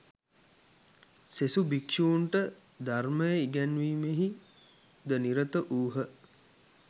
සෙසු භික්‍ෂූන්ට ධර්මය ඉගැන්වීමෙහි ද නිරත වූහ